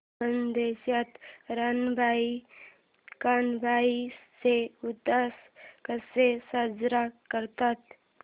खानदेशात रानबाई कानबाई चा उत्सव कसा साजरा करतात